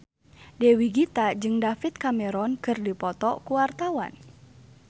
Dewi Gita jeung David Cameron keur dipoto ku wartawan